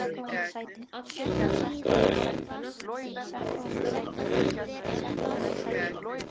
Á sunnudaginn var ég á leið heim af æfingu.